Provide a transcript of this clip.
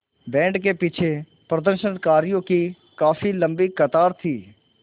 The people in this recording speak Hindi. बैंड के पीछे प्रदर्शनकारियों की काफ़ी लम्बी कतार थी